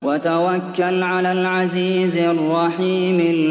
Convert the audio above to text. وَتَوَكَّلْ عَلَى الْعَزِيزِ الرَّحِيمِ